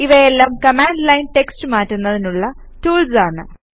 ഇവയെല്ലാം command line text മാറ്റുന്നതിനുള്ള tools ആണ്